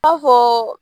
I b'a fɔ